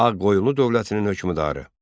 Ağqoyunlu dövlətinin hökmdarı.